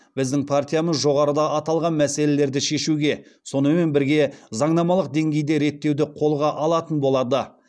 біздің партиямыз жоғарыда аталған мәселелерді шешуге сонымен бірге заңнамалық деңгейде реттеуді қолға алатын болады